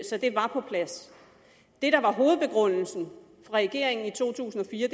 så det var på plads det der var hovedbegrundelsen for regeringen i to tusind og fire